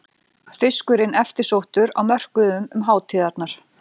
Fiskurinn eftirsóttur á mörkuðum um hátíðarnar